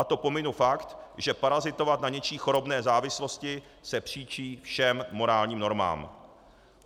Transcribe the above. A to pominu fakt, že parazitovat na něčí chorobné závislosti se příčí všem morálním normám.